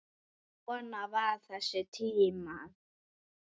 Svona voru þessi tímar.